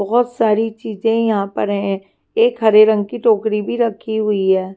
बहुत सारी चीजें यहाँ पे हैं एक हरे रंग की टोकरी भी रखी हुई हैं।